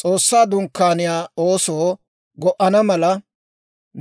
«S'oossaa Dunkkaaniyaa oosoo go"ana mala,